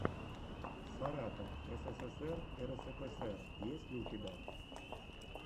саратов ссср рсфср есть ли у тебя